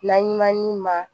Laɲumanin ma